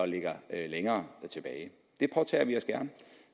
ligger længere tilbage det